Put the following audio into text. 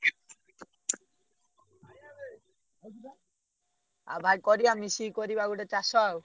ଆଉ ଭାଇ କରିଆ ମିଶିକି କରିବା ଗୋଟେ ଚାଷ ଆଉ।